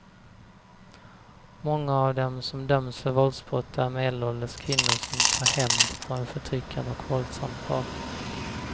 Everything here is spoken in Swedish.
Många av dem som döms för våldsbrott är medelålders kvinnor som tar hämnd på en förtryckande och våldsam partner.